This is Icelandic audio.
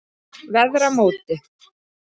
Veðramóti